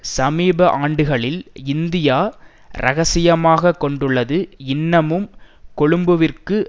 சமீப ஆண்டுகளில் இந்தியா இரகசியமாக கொடுத்துள்ளது இன்னமும் கொழும்புவிற்கு